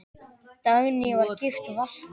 Dagný var gift Valtý.